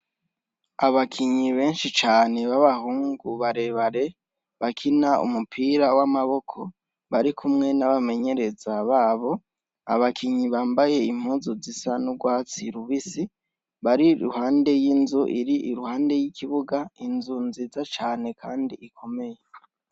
Abakinyi benshi cane babahungu barebare bakina umupira w'amaboko barikumwe n'abamenyereza babo; Abakinyi bambaye impuzu zisa n'ugwatsi rubisi bari iruhande y'inzu iruhande y'ikibuga, inzu nziza cane kandi ikomeye.